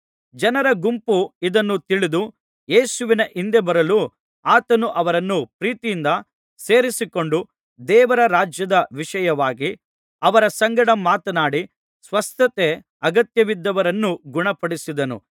ಜನರ ಗುಂಪು ಇದನ್ನು ತಿಳಿದು ಯೇಸುವಿನ ಹಿಂದೆ ಬರಲು ಆತನು ಅವರನ್ನು ಪ್ರೀತಿಯಿಂದ ಸೇರಿಸಿಕೊಂಡು ದೇವರ ರಾಜ್ಯದ ವಿಷಯವಾಗಿ ಅವರ ಸಂಗಡ ಮಾತನಾಡಿ ಸ್ವಸ್ಥತೆ ಅಗತ್ಯವಿದ್ದವರನ್ನು ಗುಣಪಡಿಸಿದನು